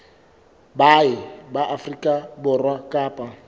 baahi ba afrika borwa kapa